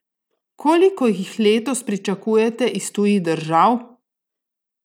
Koliko jih letos pričakujete iz tujih držav?